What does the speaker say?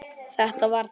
Þetta var þá